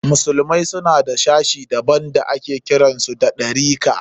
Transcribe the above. Musulmai suna da wani sashi daban da ake kiran su Ɗarika.